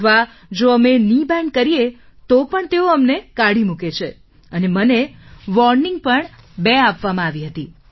અથવા જો અમે કેની બેન્ડ કરીએ તો પણ તેઓ કાઢી મૂકે છે અને મને વાર્નિંગ પણ બે વાર આપવામાં આવી હતી